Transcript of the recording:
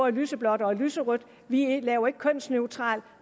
i lyseblåt og i lyserødt vi laver ikke kønsneutrale